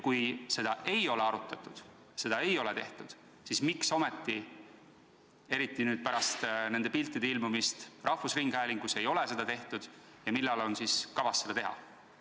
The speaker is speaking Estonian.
Kui seda ei ole arutatud, seda ei ole tehtud, siis miks ometi – eriti pärast nende piltide ilmumist rahvusringhäälingus – ei ole seda tehtud ja millal on kavas seda teha?